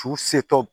Su setɔ